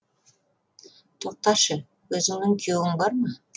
тоқташы өзіңнің күйеуің бар ма